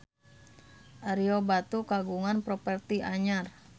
Ario Batu kagungan properti anyar